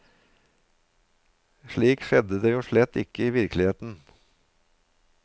Slik skjedde det jo slett ikke i virkeligheten.